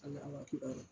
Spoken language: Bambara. A n'a watura